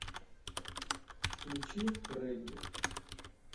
включи регги